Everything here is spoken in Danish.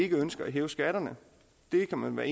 ønsker at hæve skatterne det kan man være